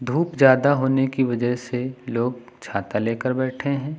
धूप ज्यादा होने की वजह से लोग छाता लेकर बैठे हैं।